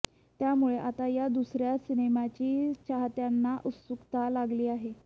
त्यामुळे आता या दुसऱ्या सिनेमाची चाहत्यांना उत्सुकता लागली आहे